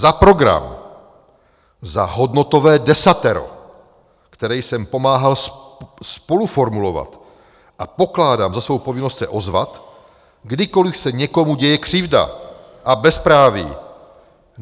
Za program, za hodnotové desatero, které jsem pomáhal spoluformulovat, a pokládám za svojí povinnost se ozvat, kdykoliv se někomu děje křivda a bezpráví.